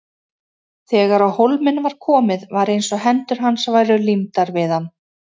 Þegar á hólminn var komið var eins og hendur hans væru límdar við hann.